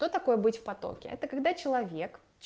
что такое быть в потоке это когда человек